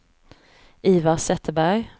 Ivar Zetterberg